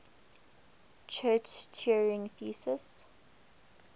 church turing thesis